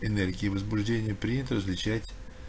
энергию возбуждения принято различать